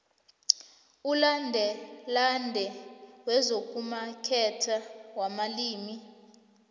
umlandelande wezokumaketha wabalimi